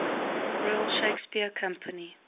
royal shakespeare company